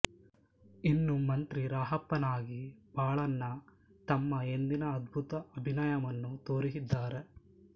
ಇನ್ನು ಮಂತ್ರಿ ರಾಹಪ್ಪನಾಗಿ ಬಾಲಣ್ಣ ತಮ್ಮ ಎಂದಿನ ಅದ್ಭುತ ಅಭಿನಯವನ್ನು ತೋರಿದ್ದಾರೆ